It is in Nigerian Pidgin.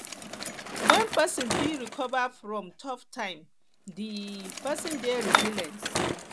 when person fit quick recover from tough time di person dey resilient